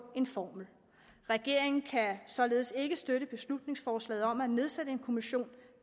en formel regeringen kan således ikke støtte beslutningsforslaget om at nedsætte en kommission